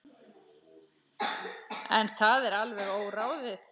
En það er alveg óráðið.